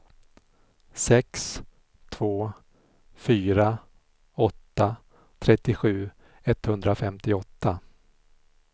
sex två fyra åtta trettiosju etthundrafemtioåtta